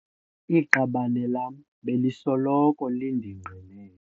Iqabane lam belisoloko lindingqinela.